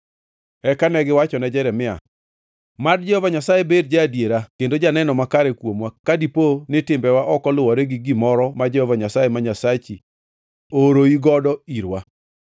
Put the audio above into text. Eka negiwachone Jeremia, “Mad Jehova Nyasaye bed ja-adiera kendo janeno makare kuomwa ka dipo ni timbewa ok oluwore gi gimoro ma Jehova Nyasaye ma Nyasachi ooroi godo irwa.